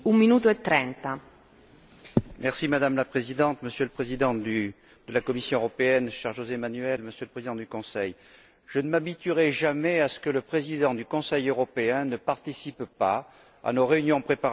Madame la Présidente, Monsieur le Président de la Commission européenne, cher José Manuel Barroso, Monsieur le Président du Conseil, je ne m'habituerai jamais à ce que le Président du Conseil européen ne participe pas à nos réunions préparatoires du Conseil européen.